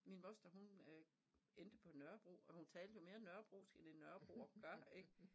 Min moster hun øh endte på Nørrebro og hun talte jo mere Nørrebrosk end en Nørrebroer gør ik